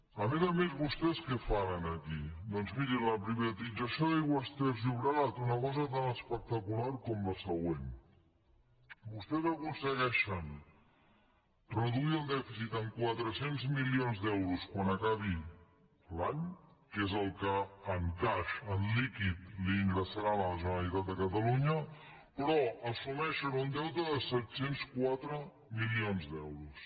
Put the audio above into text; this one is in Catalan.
a més a més vostès què fan aquí doncs miri en la privatització d’aigües ter llobregat una cosa tan espectacular com la següent vostès aconsegueixen reduir el dèficit en quatre cents milions d’euros quan acabi l’any que és el que en cash en líquid li ingressaran a la generalitat de catalunya però assumeixen un deute de set cents i quatre milions d’euros